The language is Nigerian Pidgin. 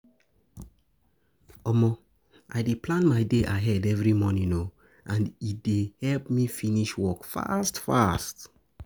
I dey plan my day ahead every morning, and e dey help me finish work fast fast.